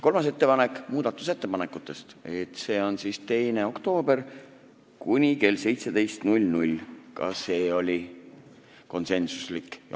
Kolmas ettepanek oli muudatusettepanekute esitamise tähtaja kohta, et see on 2. oktoobril kell 17.00, ka see oli konsensuslik otsus.